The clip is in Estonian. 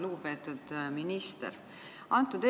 Lugupeetud minister!